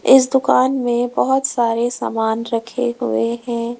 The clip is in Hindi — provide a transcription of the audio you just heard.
इस दुकान में बहुत सारे सामान रखे हुए हैं।